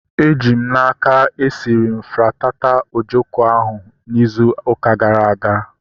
Eji m n'aka, esiri m fitata ojoko ahu izu ụka gara aga